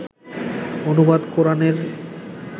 অনুবাদ কোরানের